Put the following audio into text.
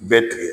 Bɛɛ tigɛ